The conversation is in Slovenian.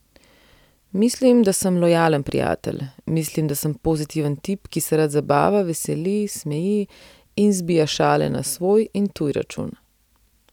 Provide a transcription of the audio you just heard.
Mislim, da sem lojalen prijatelj, mislim, da sem pozitiven tip, ki se rad zabava, veseli, smeji in zbija šale na svoj in tuj račun.